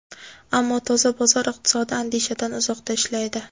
Ammo toza bozor iqtisodi andishadan uzoqda ishlaydi.